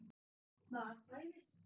Bara bæði.